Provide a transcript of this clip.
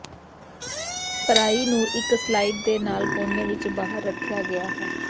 ਭਰਾਈ ਨੂੰ ਇੱਕ ਸਲਾਇਡ ਦੇ ਨਾਲ ਕੋਣੇ ਵਿਚ ਬਾਹਰ ਰੱਖਿਆ ਗਿਆ ਹੈ